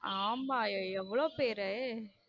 ஆமா எவளோ பேரு.